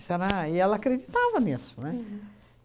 E ela acreditava nisso, né?